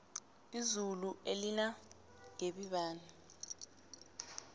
izulu elinangebibani